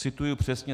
Cituji přesně.